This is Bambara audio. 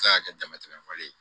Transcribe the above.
Se ka kɛ damatɛmɛ wale ye